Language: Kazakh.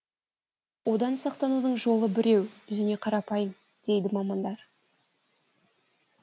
одан сақтанудың жолы біреу және қарапайым дейді мамандар